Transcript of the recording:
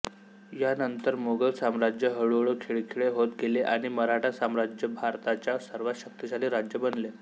यानंतर मुघल साम्राज्य हळुहळू खिळखिळे होत गेले आणि मराठा साम्राज्य भारताच्या सर्वांत शक्तिशाली राज्य बनले